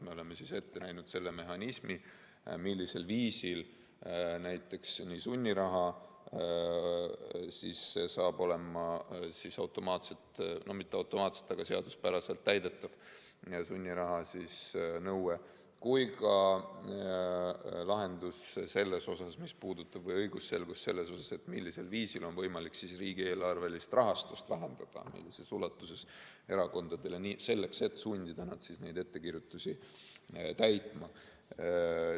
Me oleme ette näinud mehhanismi, millisel viisil näiteks hakkab toimima seaduspäraselt täidetav sunniraha nõue, kui ka lahenduse, mis puudutab õigusselgust, millisel viisil, millises ulatuses on võimalik erakondade riigieelarvelist rahastust vähendada, selleks et sundida neid ettekirjutusi täitma.